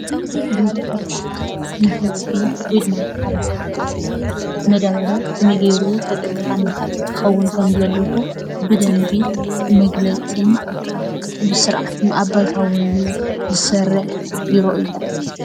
ቢሮ ሕርሻ ንህዝቢ ወይ ድማ ንሓረስታይ መዳበርያ ከመይ ገይሩ ተጠቃሚ ክኸውን ከም ዘለዎ ብደንቢ መግለፂ ብስርዓት ኣብ ባይታ ወሪዱ እዉን ዝሰርሕ ቢሮ እዩ፡፡